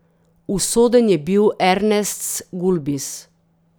Usoden je bil Ernests Gulbis.